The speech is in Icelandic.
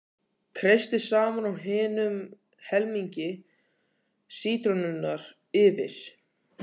Kreistið safann úr hinum helmingi sítrónunnar yfir.